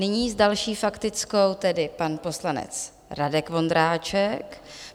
Nyní s další faktickou tedy pan poslanec Radek Vondráček.